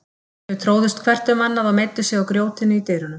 Þau tróðust hvert um annað og meiddu sig á grjótinu í dyrunum.